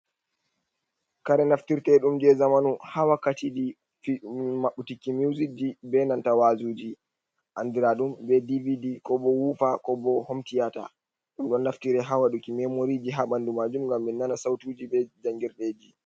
Kare naftirte ɗum je zamanu, ha wakkati ɗi mabtiti muzic ji be nanta wajuji andira ɗum be dvd ko bo wufa ko bo homtiyata, ɗum ɗon naftire hawaɗuki memoriji ha ɓandu majum ngam min nana sautuji be jangirdeji.